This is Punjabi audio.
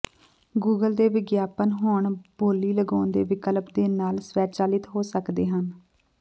ਗੂਗਲ ਦੇ ਵਿਗਿਆਪਨ ਹੁਣ ਬੋਲੀ ਲਗਾਉਣ ਦੇ ਵਿਕਲਪ ਦੇ ਨਾਲ ਸਵੈਚਾਲਿਤ ਹੋ ਸਕਦੇ ਹਨ